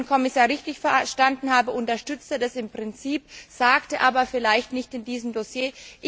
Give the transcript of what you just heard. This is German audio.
Wenn ich den Herrn Kommissar richtig verstanden habe, unterstützt er das im Prinzip, sagt es aber vielleicht nicht in diesem Dossier.